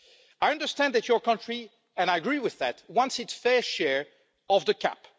I understand that your country and I agree with that wants its fair share of the CAP.